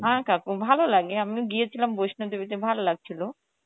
হ্যাঁ কাকু ভালো লাগে আমিও গিয়েছিলাম বৈষ্ণব দেভি তে ভালো লাগছিল